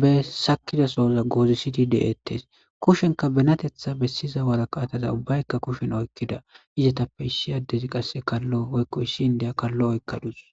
be sakidasooza goozisidi de'ettes kushenka benatetha bessiza wara kaataza ubbaykka kushen oykkida izatappe issi addezi qasse kallo woykko issi indeya kallo oykkadus.